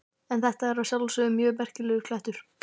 En þetta er að sjálfsögðu mjög merkilegur klettur.